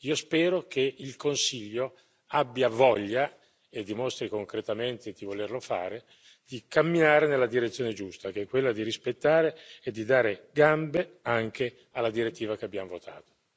Io spero che il Consiglio abbia voglia e dimostri concretamente di volerlo fare di camminare nella direzione giusta, che è quella di rispettare e di dare gambe anche alla direttiva che abbiamo votato.